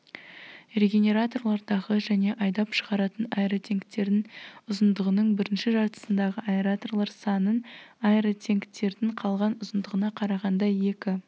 регенераторлардағы және айдап шығаратын-аэротенктердің ұзындығының бірінші жартысындағы аэраторлар санын аэротенктердің қалған ұзындығына қарағанда екі